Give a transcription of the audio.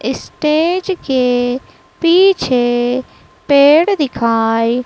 stage के पीछे पेड़ दिखाई--